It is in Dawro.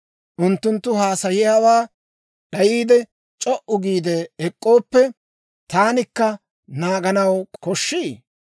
Unttunttu haasayiyaawaa d'ayiide, c'o"u giide ek'k'ooppe, taanikka naaganaw koshshii?